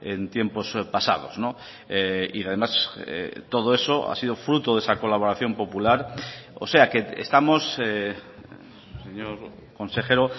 en tiempos pasados y además todo eso ha sido fruto de esa colaboración popular o sea que estamos señor consejero